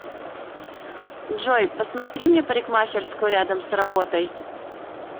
джой посмотри мне парикмахерскую рядом с работой